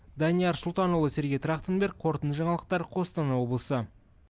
данияр сұлтанұлы сергей трахтенберг қорытынды жаңалықтар қостанай облысы